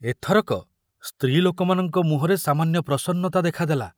ଏଥରକ ସ୍ତ୍ରୀ ଲୋକମାନଙ୍କ ମୁହଁରେ ସାମାନ୍ୟ ପ୍ରସନ୍ନତା ଦେଖାଦେଲା।